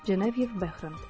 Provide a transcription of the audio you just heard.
Cenef Bəxri.